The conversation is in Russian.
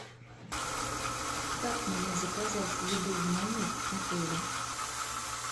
как мне заказать еду в номер отеля